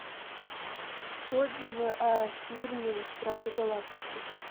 отзывы о фильме стражи галактики